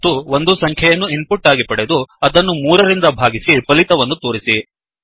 ಮತ್ತು ಒಂದು ಸಂಖ್ಯೆಯನ್ನು ಇನ್ ಪುಟ್ ಆಗಿ ಪಡೆದು ಅದನ್ನು 3 ರಿಂದ ಭಾಗಿಸಿ ಫಲಿತವನ್ನು ತೋರಿಸಿ